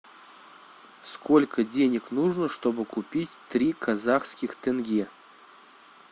сколько денег нужно чтобы купить три казахских тенге